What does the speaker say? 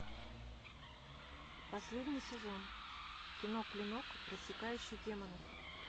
последний сезон кино клинок рассекающий демонов